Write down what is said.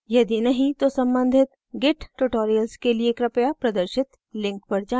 यदि नहीं तो सम्बन्धित git tutorials के लिए कृपया प्रदर्शित link पर जाएँ